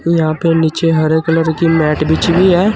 यहां पे नीचे हरे कलर की मैट बिछी हुई है।